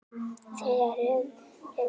Þriðja rörið var opið.